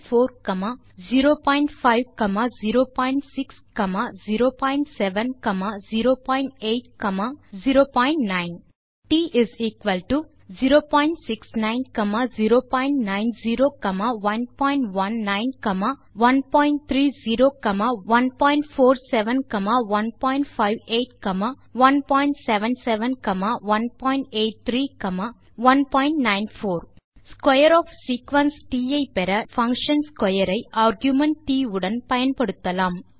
ல் 01 02 03 04 0506 07 08 09 T 069 090 119130 147 158 177 183 194 square of sequence ட் ஐ பெற நாம் பங்ஷன் ஸ்க்வேர் ஐ ஆர்குமென்ட் ட் உடன் பயன்படுத்தலாம்